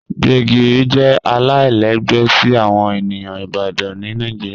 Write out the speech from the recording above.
Gbegiri jẹ alailẹgbẹ si awọn eniyan Ibadan ni Nigeria